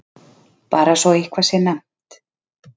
Bara svo eitthvað sé nefnt.